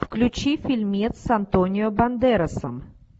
включи фильмец с антонио бандерасом